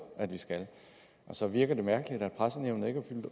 at det skal og så virker det mærkeligt at pressenævnet ikke har